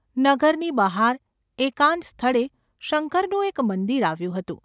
નગરની બહાર, એકાંત સ્થળે શંકરનું એક મંદિર આવ્યું હતું.